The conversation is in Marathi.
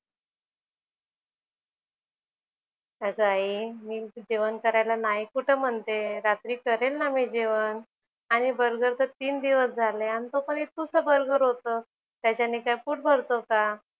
अगं आई मी जेवण करायला नाही कुठं म्हणतेय. रात्री करेल ना मी जेवण आणि बर्गर तर तीन दिवस झाले आणि तो पण इतुसा बर्गर होतं. त्याच्याने काय पोट भरतो का?